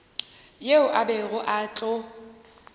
yeo a bego a tlo